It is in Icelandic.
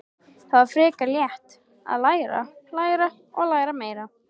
Það var frekar létt: að læra, læra og læra meira.